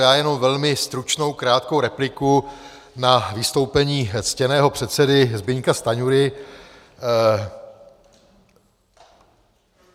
Já jenom velmi stručnou, krátkou repliku na vystoupení ctěného předsedy Zbyňka Stanjury.